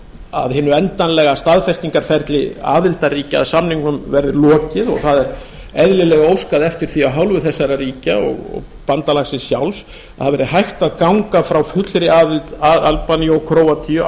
að hinu endanlega staðfestingarferli aðildarríkja að samningnum verði lokið og það er eðlileg ósk að eftir því af hálfu þessara ríkja og bandalagsins sjálfs að hægt verði að ganga frá fullri aðild albaníu og króatíu